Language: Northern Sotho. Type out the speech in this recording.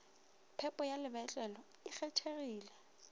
phepo ya lebotlelo e kgethegile